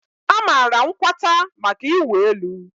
a maara Nkwata maka ịwụ elu.